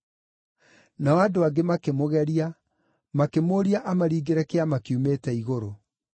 Nao andũ angĩ makĩmũgeria, makĩmũũria amaringĩre kĩama kiumĩte igũrũ.